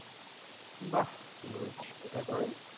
বাহ good তারপর?